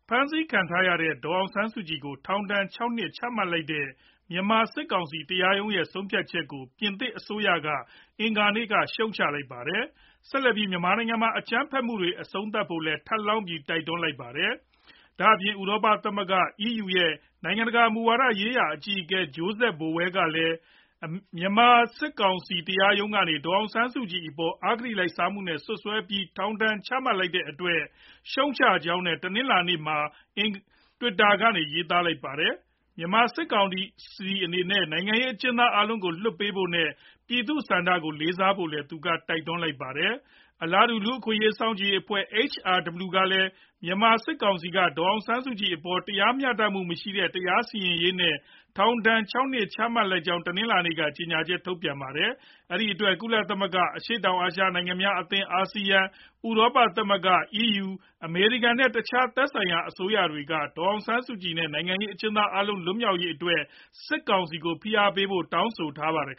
ဖမ်းဆီးခံထားရတဲ့ ဒေါ်အောင်ဆန်းစုကြည် ကို ထောင်ဒဏ် ၆ နှစ်ချမှတ်လိုက်တဲ့ မြန်မာစစ်ကောင်စီ တရားရုံးရဲ့ ဆုံးဖြတ်ချက်ကို ပြင်သစ်အစိုးရက အင်္ဂါနေ့က ရှုတ်ချလိုက်ပါတယ်။ ဆက်လက်ပြီး မြန်မာနိုင်ငံမှာ အကြမ်းဖက်မှုတွေ အဆုံးသတ်ဖို့လည်း ထပ်လောင်းပြီး တိုက်တွန်းလိုက်ပါတယ်။ ဒါအပြင် ဥရောပ သမဂ္ဂ EU ရဲ့ နိုင်ငံတကာ မူဝါဒရေးရာ အကြီးအကဲ Josep Borrell ကလည်း မြန်မာစစ်ကောင်စီ တရားရုံးကနေ ဒေါ်အောင်ဆန်းစုကြည်အပေါ် အဂတိလိုက်စားမှုနဲ့ စွပ်စွဲပြီး ထောင်ဒဏ်ချမှတ်လိုက်တဲ့ အတွက် ရှုတ်ချကြောင်း တနင်္လာနေ့က Twitter မှာ ရေးသားခဲ့ပါတယ်။ မြန်မာစစ်ကောင်စီအနေနဲ့ နိုင်ငံရေး အကျဉ်းသား အားလုံးကို လွှတ်ပေးဖို့နဲ့ ပြည်သူလူထု့ဆန္ဒကို လေးစားလိုက်နာဖို့လည်း သူက တိုက်တွန်း လိုက်ပါတယ်။ အလားတူ လူ့အခွင့်အရေး စောင့်ကြည်ရေးအဖွဲ့ HRW ကလည်း မြန်မာစစ်ကောင်စီက ဒေါ်အောင်ဆန်းစုကြည်အပေါ်မှာ တရားမျှတမှုမရှိတဲ့ တရားစီရင်ရေး နဲ့ ထောင်ဒဏ် ၆ နှစ် ချမှတ်လိုက်ကြောင်း တနင်္လာနေ့က ကြေညာချက်ထုတ်ပြန်ထားပါတယ်။ အဲဒီအတွက် ကုလသမဂ္ဂ၊ အရှေ့တောင်အာရှနိုင်ငံများအသင်း ASEAN၊ ဥရောပသမဂ္ဂ EU၊ အမေရိကန်နဲ့ တခြား သက်ဆိုင်ရာအစိုးရတွေက ဒေါ်အောင်ဆန်းစုကြည် နဲ့ နိုင်ငံရေးအကျဉ်းသား အားလုံးကို လွှတ်မြောက်ရေးအတွက် စစ်ကောင်စီကို ဖိအားပေးဖို့လည်း တောင်းဆိုထားပါတယ်